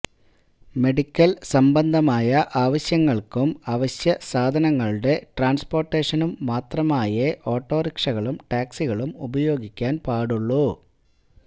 medical സംബന്ധമായ ആവശ്യങ്ങള്ക്കും അവശ്യസാധനങ്ങളുടെ ട്രാന്സ്പോര്ട്ടേഷനും മാത്രമായേ ഓട്ടോറിക്ഷകളും ടാക്സികളും ഉപയോഗിക്കാന് പാടുള്ളു